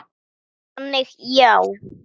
Þannig já.